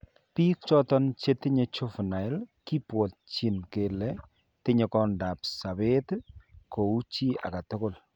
Biik choton chetinye juvinile kibwontchin kele tinye koindap sabet kou chii age tugul